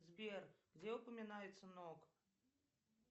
сбер где упоминается нок